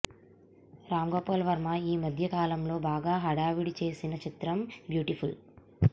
రామ్ గోపాల్ వర్మ ఈ మధ్య కాలంలో బాగా హడావిడి చేసిన చిత్రం బ్యూటిఫుల్